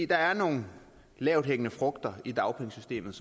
der er nogle lavthængende frugter i dagpengesystemet